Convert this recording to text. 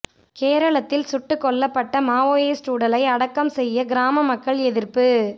கேரளத்தில் சுட்டு கொல்லப்பட்ட மாவோயிஸ்ட் உடலை அடக்கம் செய்ய கிராம மக்கள் எதிா்ப்பு